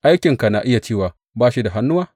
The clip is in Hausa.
Aikinka na iya cewa, Ba shi da hannuwa’?